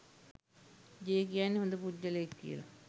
J කියන්නේ හොඳ පුද්ගලයෙක් කියලා